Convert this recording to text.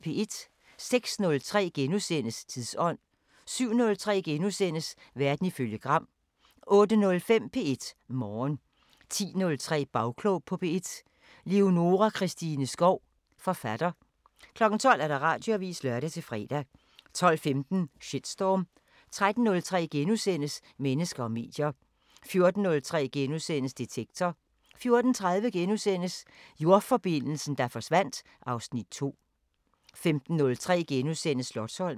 06:03: Tidsånd * 07:03: Verden ifølge Gram * 08:05: P1 Morgen 10:03: Bagklog på P1: Leonora Christine Skov, forfatter 12:00: Radioavisen (lør-fre) 12:15: Shitstorm 13:03: Mennesker og medier * 14:03: Detektor * 14:30: Jordforbindelsen, der forsvandt (Afs. 2)* 15:03: Slotsholmen *